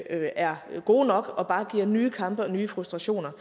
er gode nok og bare giver nye kampe og nye frustrationer